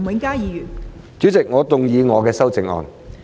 代理主席，我動議我的修正案。